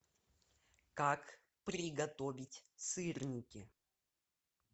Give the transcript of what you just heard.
как приготовить сырники